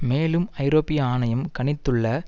மேலும் ஐரோப்பிய ஆணையம் கணித்துள்ள